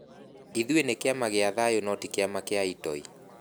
Ithuĩ nĩ kĩama gĩa thayũ no ti kĩa itoi.